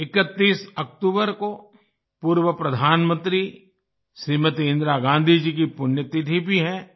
31 अक्टूबर को पूर्व प्रधानमंत्री श्रीमती इंदिरा गाँधी जी की पुण्यतिथि भी है